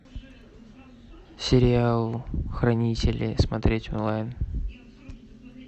сериал хранители смотреть онлайн